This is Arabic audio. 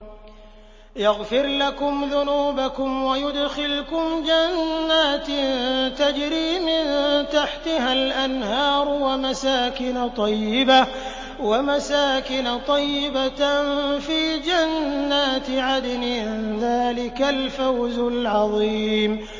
يَغْفِرْ لَكُمْ ذُنُوبَكُمْ وَيُدْخِلْكُمْ جَنَّاتٍ تَجْرِي مِن تَحْتِهَا الْأَنْهَارُ وَمَسَاكِنَ طَيِّبَةً فِي جَنَّاتِ عَدْنٍ ۚ ذَٰلِكَ الْفَوْزُ الْعَظِيمُ